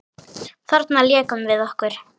Þarna lékum við okkur.